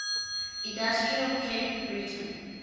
industrial cape breton